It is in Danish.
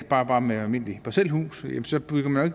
bare med et almindeligt parcelhus så bygger man